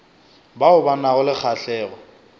bao ba nago le kgahlego